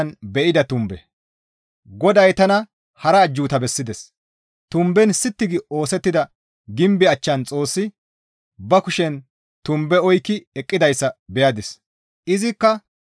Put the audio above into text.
GODAY tana hara ajjuuta bessides; tumben sitti gi oosettida gimbe achchan Xoossi ba kushen tumbe oykki eqqidayssa beyadis. Gimbe gimbiza tumbe